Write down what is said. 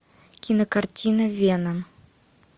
кинокартина вена